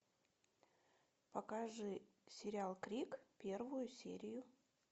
покажи сериал крик первую серию